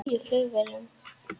Farþegar fastir í tíu flugvélum